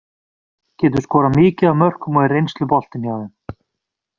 Getur skorað mikið af mörkum og er reynsluboltinn hjá þeim.